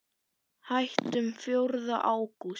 Hættum fjórða ágúst.